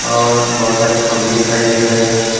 और बहुत सारी खंभे दिखाई दे रहे हैं।